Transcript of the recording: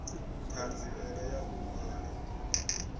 ṱhanziela ya u ṱun ḓa